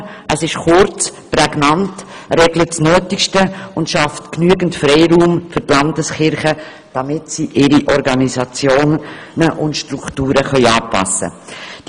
Es ist kurz und prägnant, es regelt das Nötigste und es schafft genügend Freiraum für die Landeskirchen, damit diese ihre Organisationsform und ihre Strukturen anpassen können.